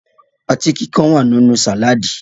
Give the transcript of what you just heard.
Ọtí kíkan wà nínú sàládì